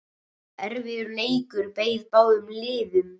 Erfiður leikur beið báðum liðum.